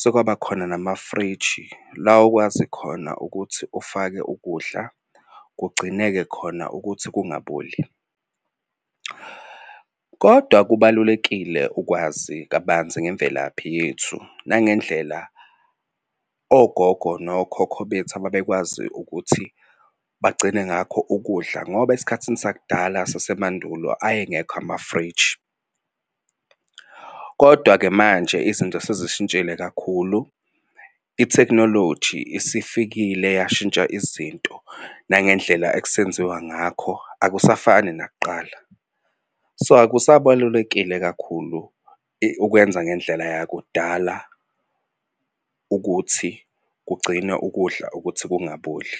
sekwaba khona namafriji, la okwazi khona ukuthi ufake ukudla kugcineke khona ukuthi kungaboli. Kodwa kubalulekile ukwazi kabanzi ngemvelaphi yethu nangendlela ogogo nokhokho bethu ababekwazi ukuthi bagcine ngakho ukudla, ngoba esikhathini sakudala sasemandulo ayengekho amafriji. Kodwa-ke manje izinto sezishintshile kakhulu, ithekhinoloji isifikile yashintsha izinto nangendlela ekusenziwa ngakho akusafani nakuqala. So akusabalulekile kakhulu ukwenza ngendlela yakudala ukuthi kugcine ukudla ukuthi kungaboli.